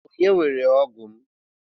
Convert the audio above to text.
Onye weere ógụ́ m?